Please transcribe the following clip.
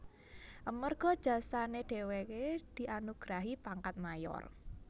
Amerga jasane dheweke dianugrahi pangkat Mayor